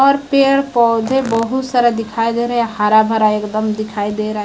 और पेड़ पौधे बहुत सारा दिखाई दे रहा है। हरा भरा एकदम दिखाई दे रहा है।